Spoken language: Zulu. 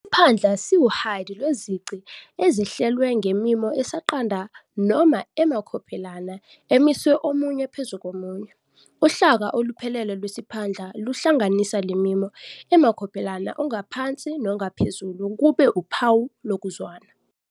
Isiphandla siwuhide lwezici ezihlelwe ngemimo esaqanda noma emakhophelana emiswe omunye phezu komunye. Uhlaka oluphelele lwesiphandla luhlanganisa lemimo emakhophelana ongaphansi nongaphezulu kube uphawu lokuzwana.